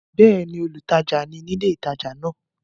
Bẹ́ẹ̀ni, olùtajà ni ní ilé ìtajà náà?